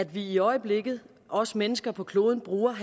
vi i øjeblikket os mennesker på kloden bruger en